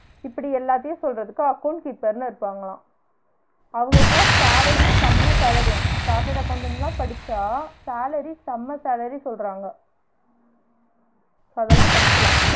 இப்டி எல்லாத்தையும் சொல்றதுக்கு account keeper ன்னு இருப்பாங்களா அவுங்களுக்குலாம் salary செம salary யாம் chartered accountant லா படிச்சா salary செம salary சொல்றாங்க அப்ப அதெலாம் படிக்கலாம்